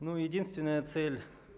ну единственная цель